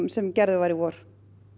sem gerður var í vor